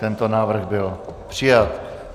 Tento návrh byl přijat.